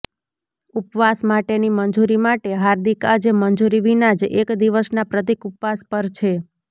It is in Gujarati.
ઉપવાસ માટેની મંજૂરી માટે હાર્દિક આજે મંજૂરી વિના જ એક દિવસના પ્રતિક ઉપવાસ પર છે